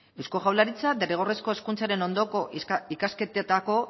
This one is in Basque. eusko jaurlaritza derrigorrezko hezkuntzaren ondoko ikasketetako